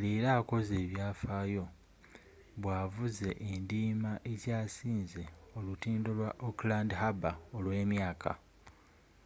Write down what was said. leero akoze ebyafaayo bwavuze endiima ekyasinze olutindo lwa auckland harbour olw'emyaka